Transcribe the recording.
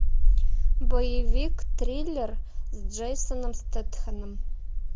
боевик триллер с джейсоном стетхеном